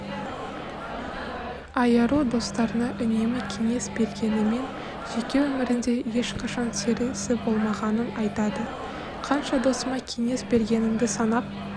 айару достарына үнемі кеңес бергенімен жеке өмірінде ешқашан серісі болмағанын айтады қанша досыма кеңес бергенімді санап